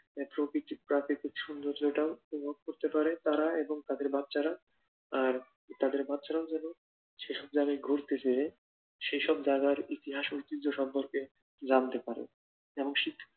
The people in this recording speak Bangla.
এক প্রকৃতিক প্রাকৃতিক সৌন্দর্যটা অনুভব করতে পারে তারা এবং তাদের বাচ্চারা আর বাচ্চারাও যেন সেসব জায়গায় ঘুরতে পারে সে সব জায়গায় ইতিহাস ঐতিহ্য সম্পর্কে জানতে পারে। এবং সেটা